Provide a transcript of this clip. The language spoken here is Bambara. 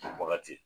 Wagati